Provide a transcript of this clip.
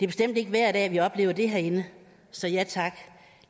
bestemt ikke hver dag vi oplever det herinde så ja tak